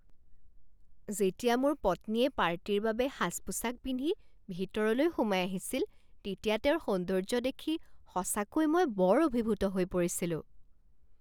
যেতিয়া মোৰ পত্নীয়ে পাৰ্টীৰ বাবে সাজ পোছাক পিন্ধি ভিতৰলৈ সোমাই আহিছিল তেতিয়া তেওঁৰ সৌন্দৰ্য্য দেখি সঁচাকৈ মই বৰ অভিভূত হৈ পৰিছিলোঁ।